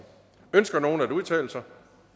ønsker nogen at udtale sig